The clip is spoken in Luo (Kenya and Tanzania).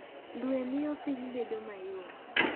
Dwe miyo piny bedo mayom.